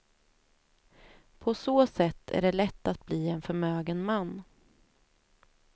På så sätt är det lätt att bli en förmögen man.